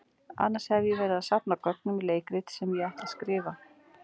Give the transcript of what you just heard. Annars hef ég verið að safna gögnum í leikrit sem ég ætla að skrifa.